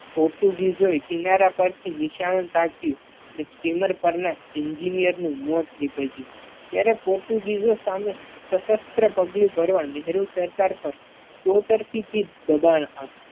પોર્ટુગીઝો કિનારા પરથી નિશાન તાક્યું અને સ્ટીમર પર ના Engineer નું મોત નીપજ્યું. ત્યારે પોર્ટુગીઝો સામે સશસ્ત્ર પગલું ભરવા નહેરુ સરકાર પર ચોતરફી થી દબાણ આવ્યુ.